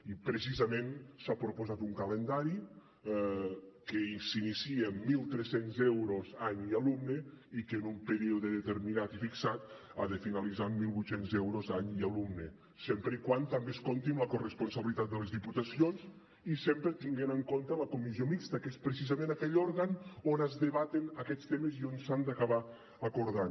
i precisament s’ha proposat un calendari que s’inicia amb mil tres cents euros any i alumne i que en un període determinat i fixat ha de finalitzar amb mil vuit cents euros any i alumne sempre que també es compti amb la corresponsabilitat de les diputacions i sempre tenint en compte la comissió mixta que és precisament aquell òrgan on es debaten aquests temes i on s’han d’acabar acordant